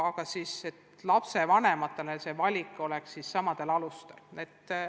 Aga lapsevanematele oleks valik samadel alustel.